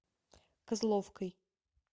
козловкой